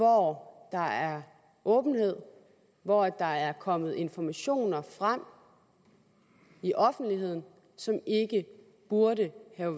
hvor der er åbenhed og hvor der er kommet informationer frem i offentligheden som ikke burde